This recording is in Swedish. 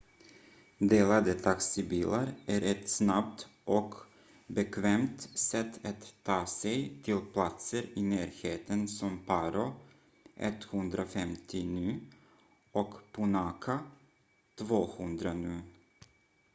delade taxibilar är ett snabbt och bekvämt sätt att ta sig till platser i närheten som paro 150 nu och punakha 200 nu